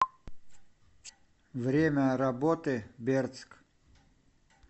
время работы бердск